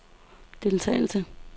deltagelse